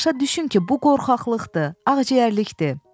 Başa düşün ki, bu qorxaqlıqdır, ağciyərlikdir.